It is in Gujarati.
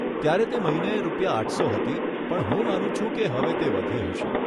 ત્યારે તે મહિને રૂપિયા આઠસો હતી પણ હું માનું છું કે હવે તે વધી હશે.